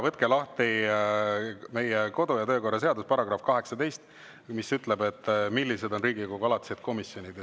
Võtke lahti meie kodu- ja töökorra seaduse § 18, mis ütleb, millised on Riigikogu alatised komisjonid.